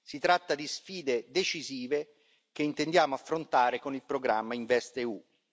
Si tratta di sfide decisive che intendiamo affrontare con il programma InvestEU.